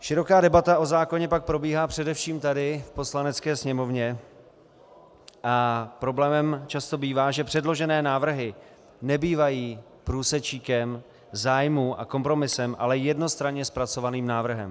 Široká debata o zákoně pak probíhá především tady v Poslanecké sněmovně a problémem často bývá, že předložené návrhy nebývají průsečíkem zájmů a kompromisem, ale jednostranně zpracovaným návrhem.